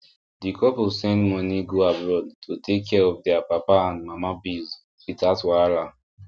di couple send money go abroad to take care of their papa and mama bills without wahala